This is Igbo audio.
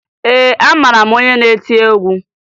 Ee, amara m onye na-eti egwu